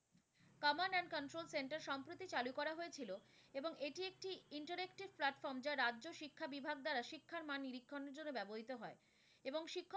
Command and control centre সম্প্রতি চালু করা হয়েছিলো এবং এটি একটি interacted platform যা রাজ্য শিক্ষা বিভাগ দ্বারা শিক্ষার মান নিরীক্ষণের জন্য ব্যবহৃত হয়। এবং শিক্ষক,